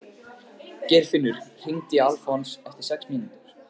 Geirfinnur, hringdu í Alfons eftir sex mínútur.